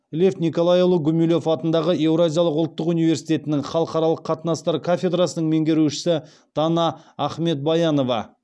лев николайұлы гумилев атындағы еуразиялық ұлттық университетінің халықаралық қатынастар кафедрасының меңгерушісі дана ахмедбаянова